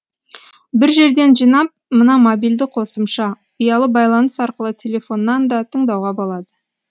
бір жерден жинап мына мобильді қосымша ұялы байланыс арқылы телефоннан да тыңдауға болады